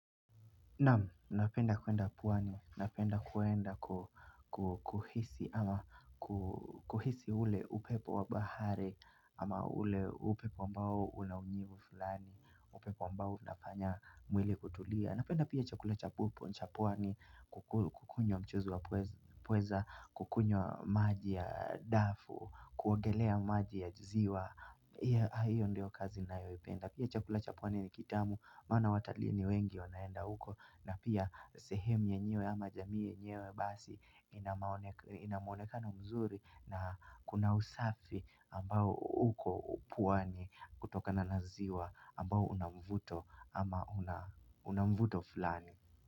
Naam, napenda kwenda pwani, napenda kwenda kuhisi ama kuhisi ule upepo wa bahari ama ule upepo ambao una unyevu fulani, upepo ambao unafanya mwili kutulia. Napenda pia chakula chapupo, cha pwani, kukunywa mchuzi wa pweza, kukunywa maji ya dafu, kuogelea maji ya ziwa. Hiyo ndio kazi nayoipenda. Pia chakula cha pwani ni kitamu. Maana watalii wengi wanaenda uko. Na pia sehemu yenyewe ama jamii yenyewe basi. Ina muonekano mzuri na kuna usafi ambao uko pwani kutokana na ziwa ambao una mvuto ama una mvuto fulani.